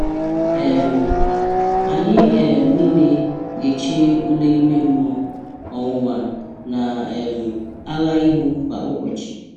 um Anyị um niile ga-eche ule ime mmụọ, ọnwụnwa, na um agha ihu kwa ụbọchị.